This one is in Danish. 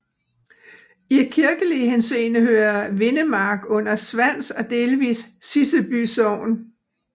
I kirkelig henseende hører Vindemark under Svans og delvis Siseby Sogn